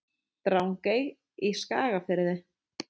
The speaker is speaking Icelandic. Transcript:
Drangey í Skagafirði.